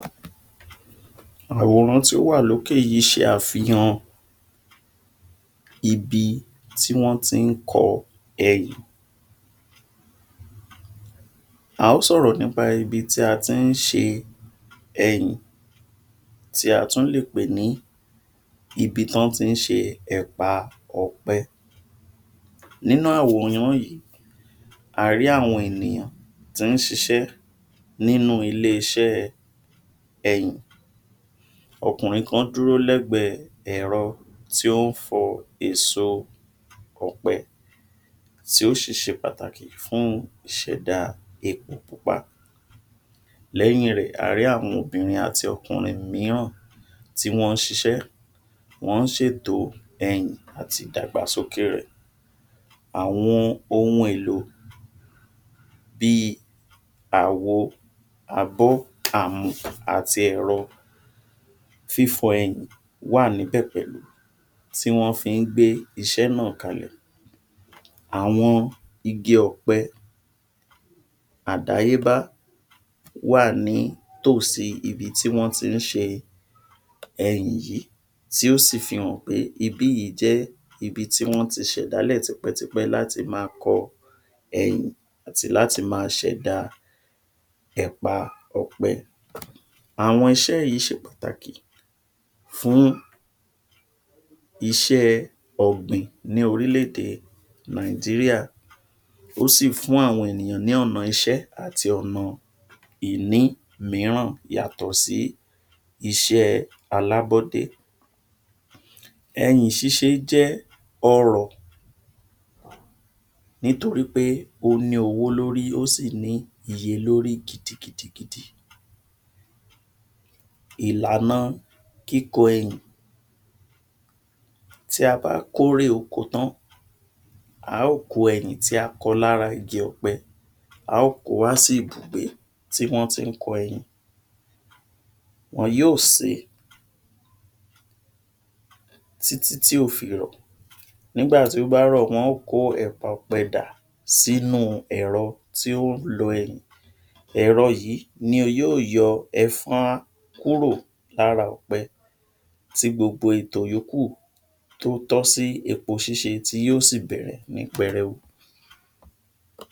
Àwòrán tí ó wà lókè yìí ṣe àfihàn ibi tí wọ́n ti ń kọ ẹyìn. A ó sọ̀rọ̀ nípa ibi tí a ti ń ṣe ẹyìn. Tí a tún lè pè ní ibi t’ọ́n ti ń ṣe ẹ̀pà ọ̀pẹ. Nínú àwòrán yìí, a rí àwọn ènìyàn tí ń ṣiṣẹ́ nínú ilé-isẹ́ ẹyìn. Ọkùnrin kan dúró lẹ́gbẹ̀ẹ́ ẹ̀rọ tí ó ń fọ́ èso ọ̀pẹ, tí ó sì ṣe pàtàkì fún ìṣẹ̀dá epo pupa. Lẹ́yìn rẹ̀, a rí àwọn obìnrin àti ọkùnnrin mìíràn tí wọ́n ń ṣiṣẹ́, wọ́n ń ṣètò ẹyìn àti ìdàgbàsókè rẹ̀. Àwọn ohun èlò bíi àwo, abọ́, àmù àti ẹ̀rọ fífọ̀ ẹyìn wà ní pẹ̀pẹ̀ tí wọ́n fi ń gbé iṣẹ́ náà kalẹ̀. Àwọn igi ọ̀pẹ àdáyébá wà nítòsí ibi tí wọ́n ti ń ṣe ẹyìn yìí tí ó sì fi hàn pé ibi yìí jẹ́ ibi tí wọ́n ti ṣẹ̀dálẹ̀ tipẹ́tipẹ́ láti máa kọ ẹyìn àti láti máa ṣẹ̀dá ẹ̀pa ọ̀pẹ. Àwọn iṣẹ́ yìí ṣe Pàtàkì fún iṣẹ́ẹ ọ̀gbìn ní orílẹ̀ èdè Nàìjíríà, ó sì fún àwọn ènìyàn ní ọ̀nà iṣẹ́ àti ọ̀nà ìní mìíràn yàtò sí iṣẹ́ alábọ́dé. Ẹyìn ṣíṣe jẹ́ ọrọ̀ nítorípé ó ní owó lórí, ó sì ní iye lórí gidigidigidi. Ìlànà kíkọ ẹyìn Tí a bá kórè oko tán, a óò kó ẹyìn tí a kọ lára igi ọ̀pẹ, a óò ko wá síbùgbé tí wọ́n tí ń kọ ẹyìn, wọ́n yóò sèé títítí yóò fi rọ̀. Nígbà tí ó bá rọ̀, wọ́n yóò kó ẹ̀pà ọ̀pẹ dà sínú ẹ̀rọ tí ó ń lọ ẹyìn. Ẹ̀rọ yìí ni yóò yọ ẹ̀fọn kúrò lára ọ̀pẹ tí gbogbo ètò yòókù tó tọ́ sí epo ṣíṣe tí yóò sì bẹ̀rẹ̀ ní pẹrẹu.